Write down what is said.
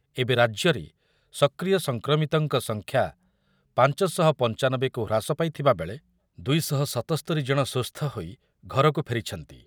ଏବେ ରାଜ୍ୟରେ ସକ୍ରିୟ ସଂକ୍ରମିତଙ୍କ ସଂଖ୍ୟା ପାଞ୍ଚ ଶହ ପଞ୍ଚାନବେକୁ ହ୍ରାସ ପାଇ ଥିବା ବେଳେ ଦୁଇ ଶହ ସତସ୍ତୋରି ଜଣ ସୁସ୍ଥ ହୋଇ ଘରକୁ ଫେରିଛନ୍ତି।